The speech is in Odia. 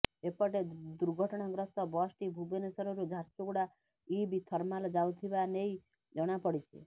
ଏପଟେ ଦୁର୍ଘଟଣାଗ୍ରସ୍ତ ବସ୍ଟି ଭୁବନେଶ୍ୱରରୁ ଝାରସୁଗୁଡ଼ା ଇବ୍ ଥର୍ମାଲ ଯାଉଥିବା ନେଇ ଜଣାପଡ଼ିଛି